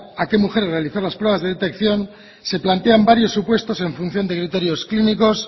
a qué mujeres realizar las pruebas de detección se plantean varios supuestos en función de criterios clínicos